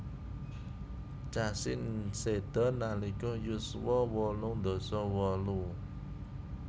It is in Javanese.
Cassin seda nalika yuswa wolung dasa wolu